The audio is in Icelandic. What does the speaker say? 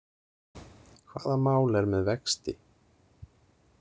Hvaða mál er með vexti?